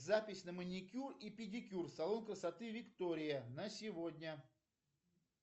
запись на маникюр и педикюр салон красоты виктория на сегодня